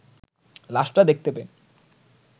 লাশটা দেখতে পেয়ে